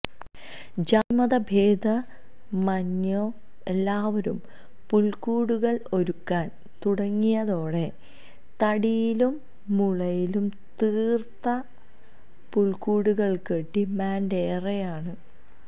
ജാതിമതഭേദമന്യേ എല്ലാവരും പുല്ക്കൂടുകള് ഒരുക്കാന് തുടങ്ങിയതോടെ തടിയിലും മുളയിലും തീര്ത്ത പുല്ക്കൂടുകള്ക്ക് ഡിമാന്റേറെയാണ്